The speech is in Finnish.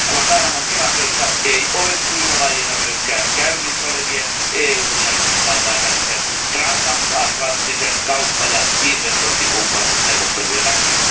Guantánamon tilanteesta ei ole syytä vaieta myöskään käynnissä olevien EUn ja Yhdysvaltain välisen transatlanttisen kauppa ja investointikumppanuusneuvottelujen takia.